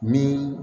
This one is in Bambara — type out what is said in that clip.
Min